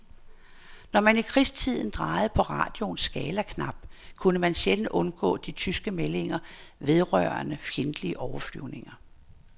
Når man i krigstiden drejede på radioens skalaknap, kunne man sjældent undgå de tyske meldinger vedrørende fjendtlige overflyvninger.